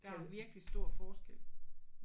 Der er jo virkelig stor forskel